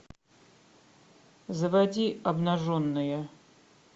заводи обнаженные